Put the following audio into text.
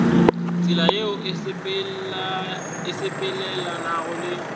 tsela yeo e sepelelanago le